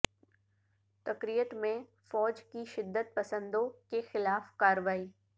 Tikrit میں فوج کی شدت پسندوں کے خلاف کارروائی